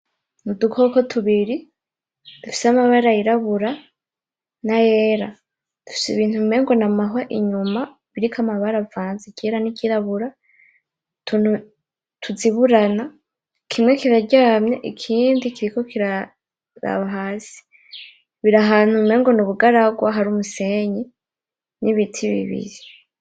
N'udukoko tubiri dufise amabara yirabura nayera dufise ibintu umengo namahwa inyuma, ibiriko amabara avanze iryera niryirabura utuntu tuziburana kimye kiraryamye, ikindi kiriko kiraraba hasi biri ahantu umenga nubugaragwa hari umusenyi nibiti bibiri.